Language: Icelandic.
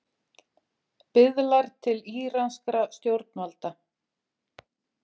Biðlar til íranskra stjórnvalda